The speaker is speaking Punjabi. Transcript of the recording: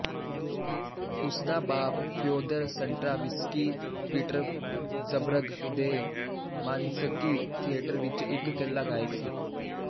ਉਸਦਾ ਬਾਪ ਫ਼ਿਓਦਰ ਸਟਰਾਵਿੰਸਕੀ ਪੀਟਰਜ਼ਬਰਗ ਦੇ ਮਾਰਿੰਸਕੀ ਥੀਏਟਰ ਵਿੱਚ ਇੱਕ ਏਕਲ ਗਾਇਕ ਸੀ